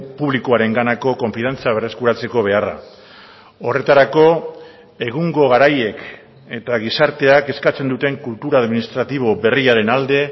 publikoarenganako konfiantza berreskuratzeko beharra horretarako egungo garaiek eta gizarteak eskatzen duten kultura administratibo berriaren alde